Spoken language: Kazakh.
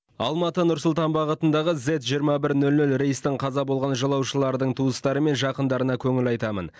алматы нұр сұлтан бағытындағы зед жиырма бір нөл нөл рейстің қаза болған жолаушылардың туыстары мен жақындарына көңіл айтамын